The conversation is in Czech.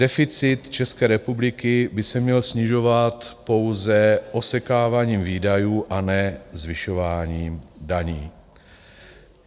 Deficit České republiky by se měl snižovat pouze osekáváním výdajů a ne zvyšováním daní.